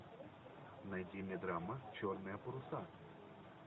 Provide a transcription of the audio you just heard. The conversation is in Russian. найди мне драма черные паруса